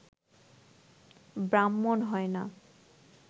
ব্রাহ্মণ হয় না